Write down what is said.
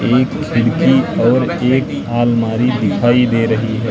एक खिड़की और एक आलमारी दिखाई दे रही है।